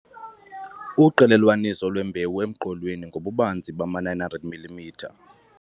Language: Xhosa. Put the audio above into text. Uqelelwaniso lwembewu emqolweni ngobubanzi bama-900 mm